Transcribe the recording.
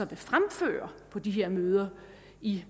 vil fremføre på de her møder i